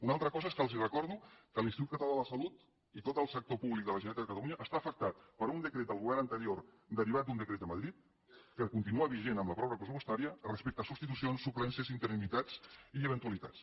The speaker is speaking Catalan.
una altra cosa és que els recordo que l’institut català de la salut i tot el sector públic de la generalitat de catalunya estan afectats per un decret del govern anterior derivat d’un decret de madrid que continua vigent amb la pròrroga pressupostària respecte a substitucions suplències interinitats i eventualitats